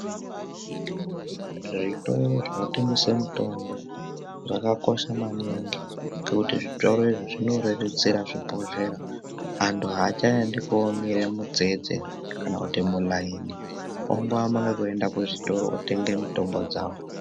Zvitoro zvinotengesa mitombo zvakakosha maningi ngekuti zvitoro izvi zvinorerutsira zvibhedhlera anthu aacgaendi koomira mumutsetse kana mumuraini vaakungoamba nekuenda kuzvitoro votenga mitombo dzao.